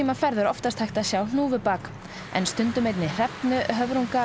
ferð er oftast hægt að sjá hnúfubak en stundum einnig hrefnu höfrunga